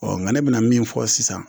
nka ne bɛ na min fɔ sisan